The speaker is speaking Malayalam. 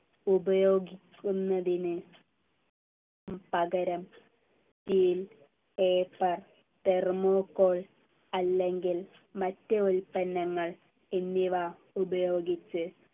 ഉപയോഗിക്കുന്നതിനു പകരം steel paper thermocol അല്ലെങ്കിൽ മറ്റ് ഉത്പന്നങ്ങൾ എന്നിവ ഉപയോഗിച്ച്